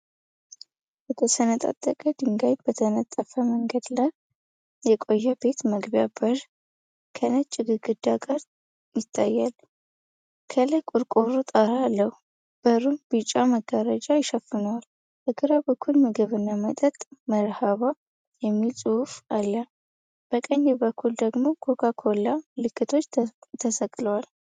በተሰነጣጠቀ ድንጋይ በተነጠፈ መንገድ ዳር የቆየ ቤት መግቢያ በር ከነጭ ግድግዳ ጋር ይታያል። ከላይ ቆርቆሮ ጣራ አለ። በሩን ቢጫ መጋረጃ ይሸፍነዋል። በግራ በኩል “ምግብና መጠጥ መርሐባ” የሚል ጽሑፍ አለ፤ በቀኝ በኩል ደግሞ “ኮካ ኮላ” ምልክቶች ተሰቅለዋል።